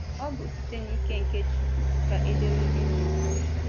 Ọ bụ site n’ike nke Chukwu ka ederede na-ekwu.